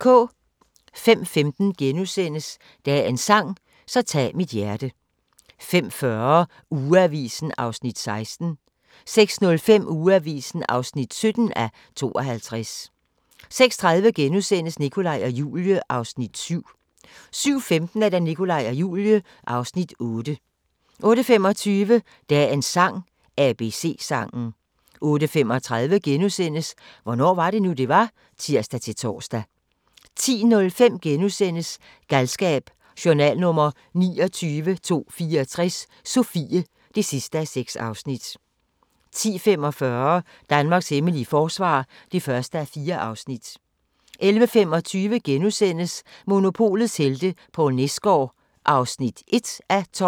05:15: Dagens sang: Så tag mit hjerte * 05:40: Ugeavisen (16:52) 06:05: Ugeavisen (17:52) 06:30: Nikolaj og Julie (Afs. 7)* 07:15: Nikolaj og Julie (Afs. 8) 08:25: Dagens sang: ABC-sangen 08:35: Hvornår var det nu, det var? *(tir-tor) 10:05: Galskab: Journal nr. 29.264 – Sofie (6:6)* 10:45: Danmarks hemmelige forsvar (1:4) 11:25: Monopolets helte - Poul Nesgaard (1:12)*